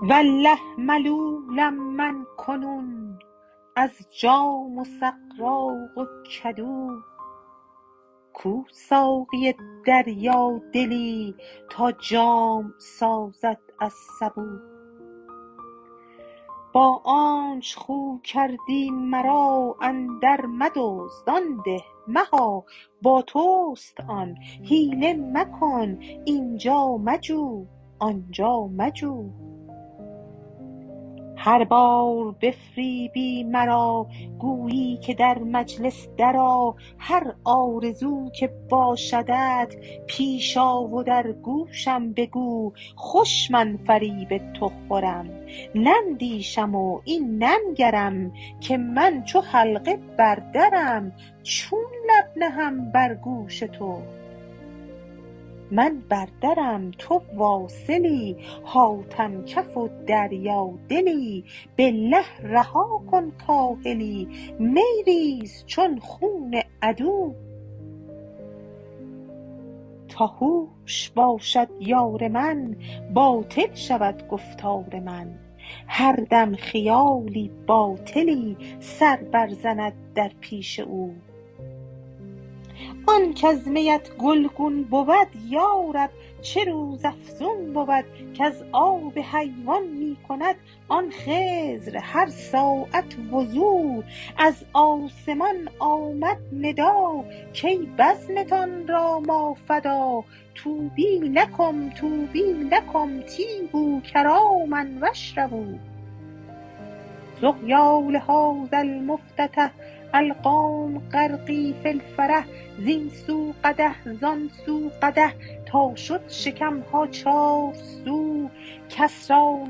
والله ملولم من کنون از جام و سغراق و کدو کو ساقی دریادلی تا جام سازد از سبو با آنچ خو کردی مرا اندرمدزد آن ده مها با توست آن حیله مکن این جا مجو آن جا مجو هر بار بفریبی مرا گویی که در مجلس درآ هر آرزو که باشدت پیش آ و در گوشم بگو خوش من فریب تو خورم نندیشم و این ننگرم که من چو حلقه بر درم چون لب نهم بر گوش تو من بر درم تو واصلی حاتم کف و دریادلی بالله رها کن کاهلی می ریز چون خون عدو تا هوش باشد یار من باطل شود گفتار من هر دم خیالی باطلی سر برزند در پیش او آن کز میت گلگون بود یا رب چه روزافزون بود کز آب حیوان می کند آن خضر هر ساعت وضو از آسمان آمد ندا کای بزمتان را ما فدا طوبی لکم طوبی لکم طیبوا کراما و اشربوا سقیا لهذا المفتتح القوم غرقی فی الفرح زین سو قدح زان سو قدح تا شد شکم ها چارسو کس را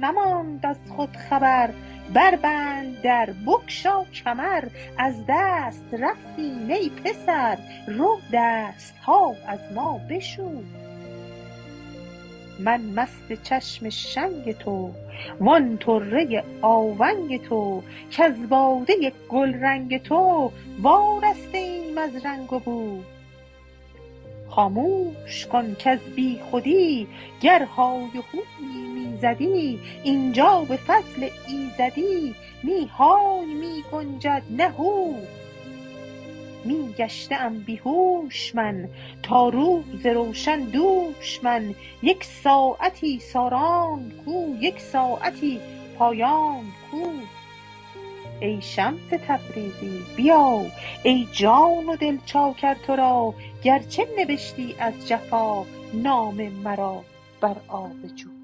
نماند از خود خبر بربند در بگشا کمر از دست رفتیم ای پسر رو دست ها از ما بشو من مست چشم شنگ تو و آن طره آونگ تو کز باده گلرنگ تو وارسته ایم از رنگ و بو خامش کن کز بیخودی گر های و هویی می زدی این جا به فضل ایزدی نی های می گنجد نه هو می گشته ام بی هوش من تا روز روشن دوش من یک ساعتی ساران کو یک ساعتی پایان کو ای شمس تبریزی بیا ای جان و دل چاکر تو را گرچه نبشتی از جفا نام مرا بر آب جو